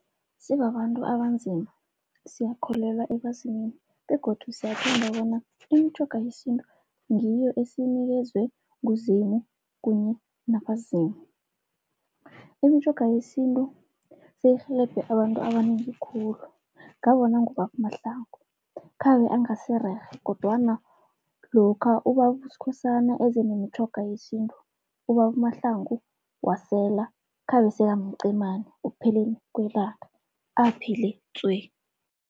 Sibabantu abanzima siyakholelwa ebazimini begodu siyathemba bona imitjhoga yesintu ngiyo esiyinikezwe nguZimu kunye nabaZimu. Imitjhoga yesintu seyirhelebhe abantu abanengi khulu, ngabona ngobaba uMahlangu khabe angasirhere kodwana lokha ubaba uSkhosana eze nemitjhoga yesintu, ubaba uMahlangu wasela khabe sekamcemani ekupheleni kwelanga, aphile tswe.